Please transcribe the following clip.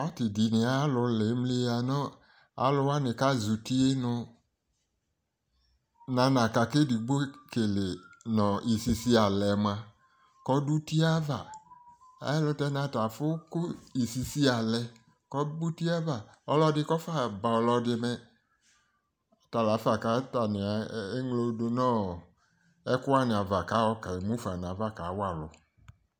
Party dɩnɩ alʋ la emliya nʋ alʋwanɩ kazɛ uti yɛ nʋ nanaka kʋ edigboekele nʋ isisialɛ mʋa kɔ dʋ uti yɛ ava Ayɛlʋtɛ n'atafʋ kʋ isisialɛ kɔ ba uti yɛ ava, ɔlɔdɩ kɔfa ba ɔlɔdɩ mɛ; talafa ke ŋlo dʋ nʋ ɔɔ ɛkʋwanɩ ava k'ayɔ kemufa n'ava k'ayɔ kawa alʋ